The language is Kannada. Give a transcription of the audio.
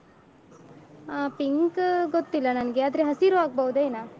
ಆ pink ಗೊತ್ತಿಲ್ಲ ನನ್ಗೆ ಆದ್ರೆ ಹಸಿರು ಆಗ್ಬೋದೇನ.